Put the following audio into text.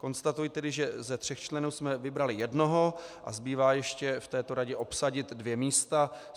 Konstatuji tedy, že ze tří členů jsme vybrali jednoho a zbývá ještě v této radě obsadit dvě místa.